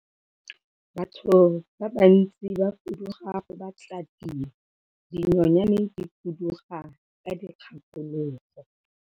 Batho ba bantsi ba fuduga go batla tiro, dinonyane di fuduga ka dikgakologo.